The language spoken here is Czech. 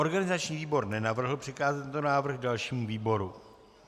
Organizační výbor nenavrhl přikázat tento návrh dalšímu výboru.